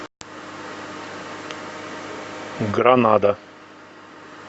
гранада